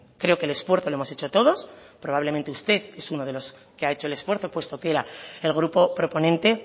creo que el esfuerzo lo hemos hecho todos probablemente usted es uno de los que ha hecho el esfuerzo puesto que era el grupo proponente